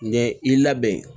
Ɲɛ i labɛn